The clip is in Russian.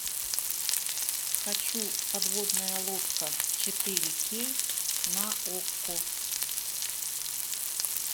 хочу подводная лодка четыре кей на окко